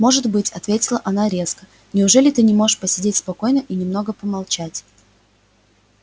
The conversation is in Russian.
может быть ответила она резко неужели ты не можешь посидеть спокойно и немного помолчать